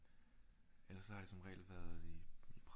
Ellers så har det jeg som regel været i